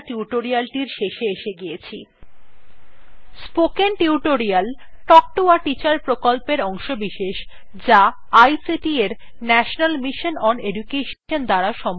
এখন আমরা tutorial শেষে এসে গিয়েছি spoken tutorial talk to a teacher প্রকল্পের অংশবিশেষ যা ict এর national mission on education দ্বারা সমর্থিত